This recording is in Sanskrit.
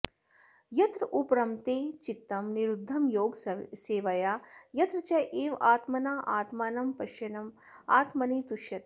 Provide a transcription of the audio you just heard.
यत्र उपरमते चित्तं निरुद्धं योगसेवया यत्र च एव आत्मना आत्मानं पश्यन् आत्मनि तुष्यति